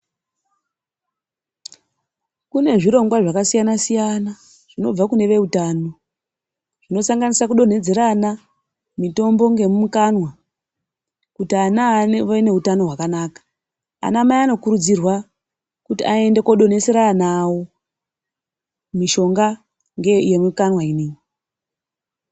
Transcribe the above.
Kune zvirongwa zvakasiyana-siyana zvinobva kune veutano zvinosanganisa kudonhedzera ana mitombo ngemukanwa. Kuti ana ave neutano hwakanaka anamai anokurudzirwa kuti aende kodonhesera ana avo mishonga ngeyemikanwa inoiyi.